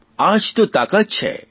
આ જ તો તાકાત છે